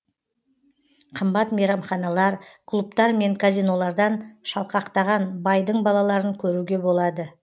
қымбат мейрамханалар клубтар мен казинолардан шалқақтаған байдың балаларын көруге болады